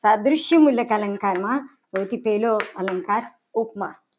સાદ્રશ્ય મુલસ અલંકારમાં સૌથી પહેલો અલંકાર ઉપમા